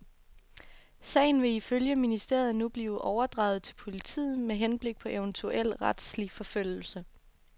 Sagen vil ifølge ministeriet nu blive overdraget til politiet med henblik på eventuel retslig forfølgelse.